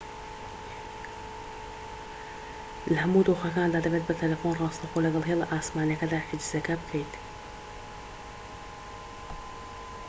لە هەموو دۆخەکاندا دەبێت بە تەلەفۆن راستەوخۆ لەگەڵ هێڵە ئاسمانیەکەدا حیجزەکە بکەیت